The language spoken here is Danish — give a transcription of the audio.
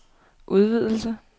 udvidelse